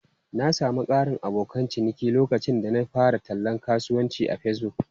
Na sami ƙarin abokan ciniki lokacin da na fara tallan kasuwancin a Facebook.